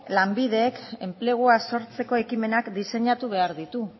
lanbidek enplegua sortzeko ekimenak diseinatu behar ditu